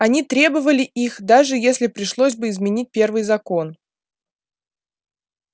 они требовали их даже если пришлось бы изменить первый закон